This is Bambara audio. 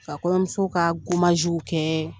ka kɔɲɔmuso ka kɛ